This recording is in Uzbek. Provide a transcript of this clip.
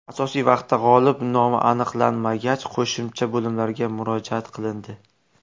Asosiy vaqtda g‘olib nomi aniqlanmagach, qo‘shimcha bo‘limlarga murojaat qilindi.